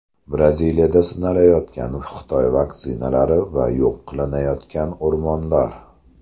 Braziliyada sinalayotgan Xitoy vaksinalari va yo‘q qilinayotgan o‘rmonlar.